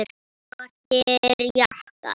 Svartir jakkar.